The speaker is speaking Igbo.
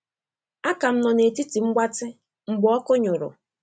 A ka m nọ na etiti mgbatị mgbe ọkụ nyụ̀rụ̀.